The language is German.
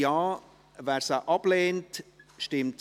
Wir werden entscheiden, wenn wir merken, dass wir durchkommen.